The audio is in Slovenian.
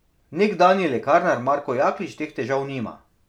Nekdanji lekarnar Marko Jaklič teh težav nima.